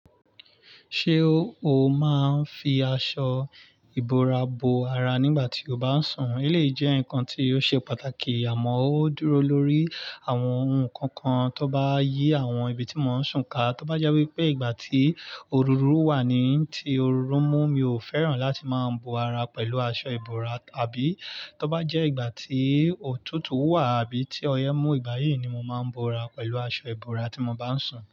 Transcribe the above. Ṣé o máa ń fi aṣọ ìbora bo ara nígbà tí o bá ń sùn? Eleyii jẹ́ ǹnkan tí ó ṣe pàtàkì àmọ́ ó dúró lórí àwọn ohun kankan tó n bá yí àwọn ibi tí mo ń sún ká. Tó bá jẹ́ wípé ìgbà tí òrúrùú wà ni, tí òrú mú mi ò fẹ́ràn láti máa ń bo ara pẹ̀lú aṣọ ìbora. Àbí tó bá jẹ́ ìgbà tí òtútù wà àbí tí ọyẹ́ mú, ìgbà yìí ni mo máa ń bo ara pẹ̀lú aṣọ ìbora tí mo bá ń sùn.